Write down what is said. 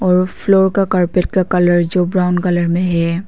और फ्लोर का कॉर्पेट का कलर जो ब्राऊन कलर में है।